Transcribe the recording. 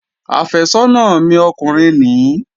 Àfẹ́sọ́nà mi ọkùnrin nìí